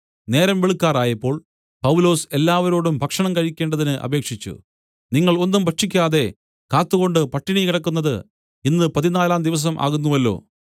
നേരം വെളുക്കാറായപ്പോൾ പൗലൊസ് എല്ലാവരോടും ഭക്ഷണം കഴിക്കേണ്ടതിന് അപേക്ഷിച്ചു നിങ്ങൾ ഒന്നും ഭക്ഷിക്കാതെ കാത്തുകൊണ്ട് പട്ടിണി കിടക്കുന്നത് ഇന്ന് പതിനാലാം ദിവസം ആകുന്നുവല്ലോ